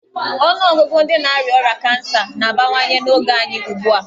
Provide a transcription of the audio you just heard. Ọnụọgụgụ ndị na-arịa ọrịa kansa na-abawanye n'oge anyị ugbu a.